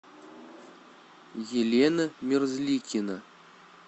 елена мерзликина